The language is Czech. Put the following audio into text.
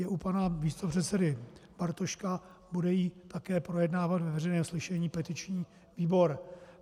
Je u pana místopředsedy Bartoška, bude ji také projednávat ve veřejném slyšení petiční výbor.